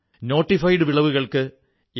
notified വിളവുകൾക്ക് M